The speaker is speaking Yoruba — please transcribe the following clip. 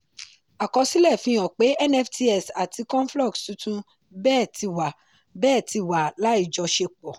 àkọsílẹ̀ fihan pé nfts àti conflux tuntun bẹ́ẹ̀ ti wà bẹ́ẹ̀ ti wà láìjọṣepọ̀.